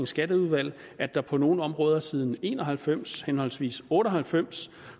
skatteudvalg at der på nogle områder siden en og halvfems henholdsvis nitten otte og halvfems